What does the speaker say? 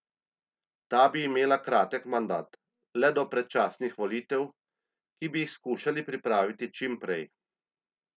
Ta bi imela kratek mandat, le do predčasnih volitev, ki bi jih skušali pripraviti čim prej.